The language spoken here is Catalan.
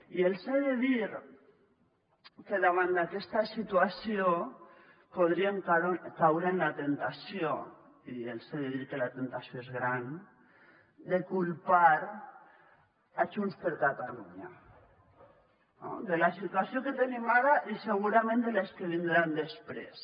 i els he de dir que davant d’aquesta situació podríem caure en la temptació i els he de dir que la temptació és gran de culpar junts per catalunya no de la situació que tenim ara i segurament de les que vindran després